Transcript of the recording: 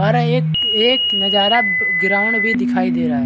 और एक एक नजारा ग्राउंड भी दिखाई दे रहा है।